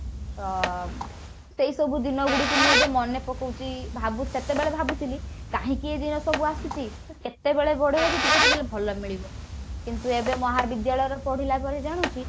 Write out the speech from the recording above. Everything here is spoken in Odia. ଅ ସେଇସବୁ ଦିନ ଗୁଡିକୁ ମୁଁ ଏବେ ମନେ ପକଉଛି ଭାବୁଛି ସେତେବେଳେ ଭାବୁଥିଲି କାହିଁକି ଏ ଦିନ ସବୁ ଆସୁଛି କେତେବେଳେ ବଡ ହେବି ଟିକେ ଟିକେ ଭଲ ମିଳିବ କିନ୍ତୁ ଏବେ ମହାବିଦ୍ୟାଳୟର ପଢିଲା ପରେ ଜାଣୁଛି